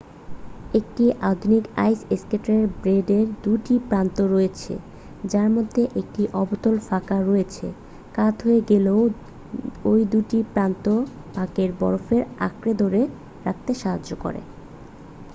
একটি আধুনিক আইস স্কেটের ব্লেডের 2 টি প্রান্ত রয়েছে যার মধ্যে একটি অবতল ফাঁক রয়েছে কাত হয়ে গেলেও ওই দুটি প্রান্ত পাকে বরফে আঁকড়ে ধরে রাখতে সাহায্য করে